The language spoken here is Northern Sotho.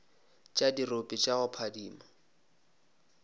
tša dirope tša go phadima